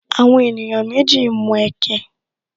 Àwọn ènìyàn méjì ń mu ẹkẹ